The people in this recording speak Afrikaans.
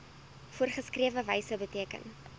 voorgeskrewe wyse beteken